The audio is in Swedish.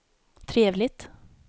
trevligt